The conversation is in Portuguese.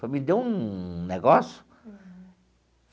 Me deu um negócio.